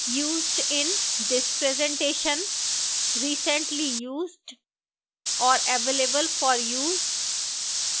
used in this presentation recently used और available for use